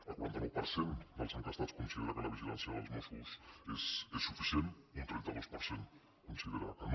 el quaranta nou per cent dels enquestats considera que la vigilància dels mossos és suficient un trenta dos per cent considera que no